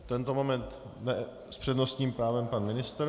V tento moment s přednostním právem pan ministr.